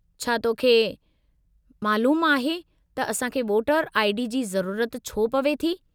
छा तोखे मइलूमु आहे त असांखे वोटर आई.डी. जी ज़रूरत छो पवे थी ?